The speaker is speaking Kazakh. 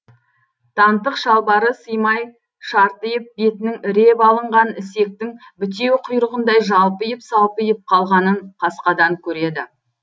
тантық шалбары сыймай шартиып бетінің іреп алынған ісектің бітеу құйрығындай жалпиып салпиып қалғанын қасқадан көреді